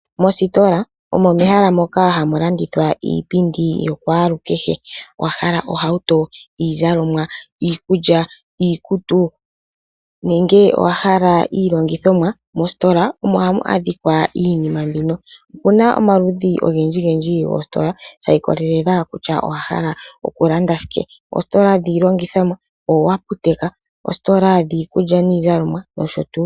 Moostola omo mehala moka hamu landithwa iipundi yo kwalu kehe. Owahala ohauto, iikulya, iizalomwa, iikutu nenge owahala iilongithomwa, mostola omo hamu adhika iinima mbika. Opuna omaludhi ogendji gendji goostola shiikolelela kutya owahala oku landa shike. Oostola dhi longithomwa, oaptek, oostola dhiikulya niizalomwa nosho tuu.